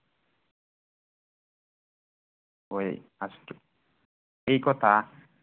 হয় সেই কথা